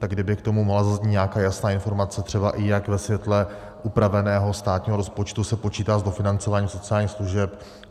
Tak kdyby k tomu mohla zaznít nějaká jasná informace, třeba i jak ve světle upraveného státního rozpočtu se počítá s dofinancováním sociálních služeb.